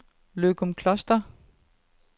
Løgumkloster